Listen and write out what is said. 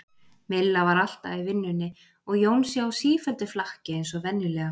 Milla var alltaf í vinnunni og Jónsi á sífelldu flakki eins og venjulega.